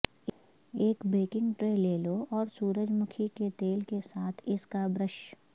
ایک baking tray لے لو اور سورج مکھی کے تیل کے ساتھ اس کا برش